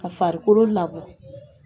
Ka farikolo labɔ